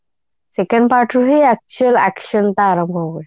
second part ରେ ରୁହେ actual action ତାର